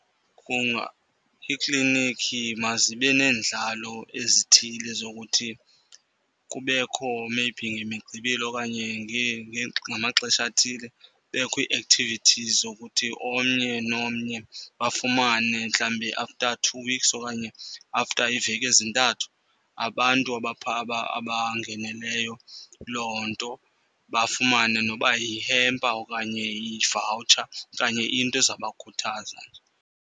Iiklinikhi mazibe neendlalo ezithile zokuthi kubekho maybe ngeMigqibelo okanye ngamaxesha athile. Kubekho i-activities zokuthi omnye nomnye bafumane mhlawumbi after two weeks okanye after iiveki ezintathu, abantu abaphaa abangeneleyo loo nto bafumane noba yihempa okanye ivawutsha okanye into ezawubakhuthaza nje.